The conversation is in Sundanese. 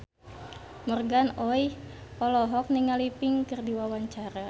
Morgan Oey olohok ningali Pink keur diwawancara